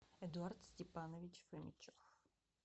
эдуард степанович фомичев